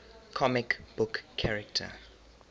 comic book character